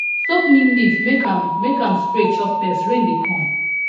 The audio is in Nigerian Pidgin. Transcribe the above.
soak neem leaf make am make am spray chop pest rain dey come